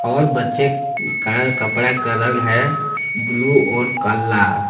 और बच्चे का कपड़ा का रंग है ब्लू और काला।